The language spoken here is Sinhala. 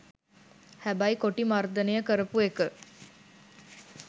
හැබැයි කොටි මර්දනය කරපු එක